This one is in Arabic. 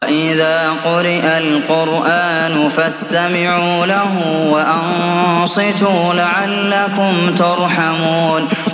وَإِذَا قُرِئَ الْقُرْآنُ فَاسْتَمِعُوا لَهُ وَأَنصِتُوا لَعَلَّكُمْ تُرْحَمُونَ